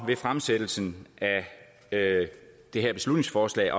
ved fremsættelsen af det her beslutningsforslag